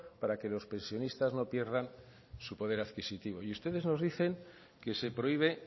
para que los pensionistas no pierdan su poder adquisitivo y ustedes nos dicen que se prohíbe